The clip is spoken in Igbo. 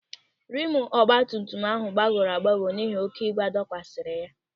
Rịmu ọgbatumtum áhụ̀ gbagọrọ agbagọ n'ihi oké ibu adọkwasara ya.